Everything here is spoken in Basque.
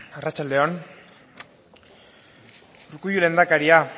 arratsalde on urkullu lehendakaria